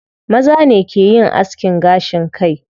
Maza ne ke yin askin gashin kai.